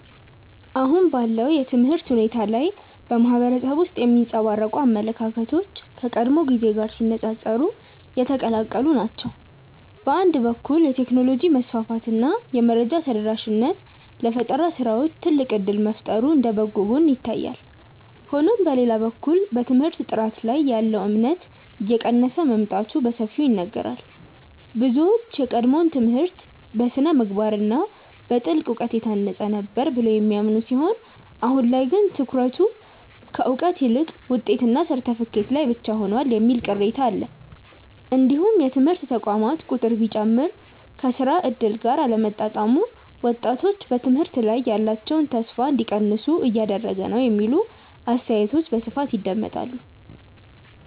አሁን ባለው የትምህርት ሁኔታ ላይ በማህበረሰቡ ውስጥ የሚንጸባረቁ አመለካከቶች ከቀድሞው ጊዜ ጋር ሲነፃፀሩ የተቀላቀሉ ናቸው። በአንድ በኩል የቴክኖሎጂ መስፋፋት እና የመረጃ ተደራሽነት ለፈጠራ ስራዎች ትልቅ እድል መፍጠሩ እንደ በጎ ጎን ይታያል። ሆኖም በሌላ በኩል በትምህርት ጥራት ላይ ያለው እምነት እየቀነሰ መምጣቱ በሰፊው ይነገራል። ብዙዎች የቀድሞው ትምህርት በስነ-ምግባር እና በጥልቅ እውቀት የታነጸ ነበር ብለው የሚያምኑ ሲሆን አሁን ላይ ግን ትኩረቱ ከእውቀት ይልቅ ውጤትና ሰርተፍኬት ላይ ብቻ ሆኗል የሚል ቅሬታ አለ። እንዲሁም የትምህርት ተቋማት ቁጥር ቢጨምርም ከስራ እድል ጋር አለመጣጣሙ ወጣቶች በትምህርት ላይ ያላቸውን ተስፋ እንዲቀንሱ እያደረገ ነው የሚሉ አስተያየቶች በስፋት ይደመጣሉ።